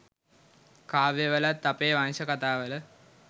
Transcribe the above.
කාව්‍යවලත් අපේ වංශ කථා වල